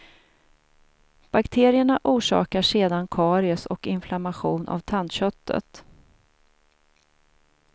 Bakterierna orsakar sedan karies och inflammation av tandköttet.